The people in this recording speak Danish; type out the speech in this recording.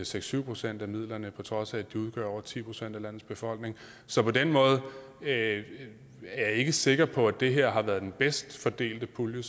seks syv procent af midlerne på trods af at de udgør over ti procent af landets befolkning så på den måde er jeg ikke sikker på at det her har været den bedst fordelte pulje